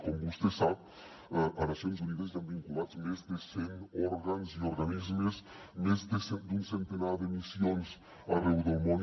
com vostè sap a nacions unides hi han vinculats més de cent òrgans i organismes més d’un centenar de missions arreu del món